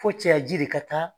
Fo cɛya ji de ka taa